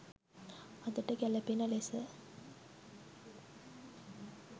අදට ගැලපෙන ලෙස